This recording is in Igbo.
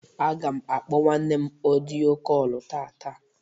Agam akpo nwannem ọdịyo kọlu tata.